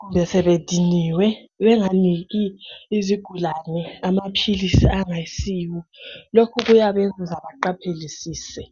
kumbe sebediniwe benganiki izigulane amaphilisi angayisiwo. Lokhu kuyabenza baqaphelisise.